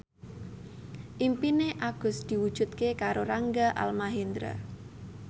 impine Agus diwujudke karo Rangga Almahendra